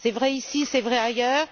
C'est vrai ici, c'est vrai ailleurs.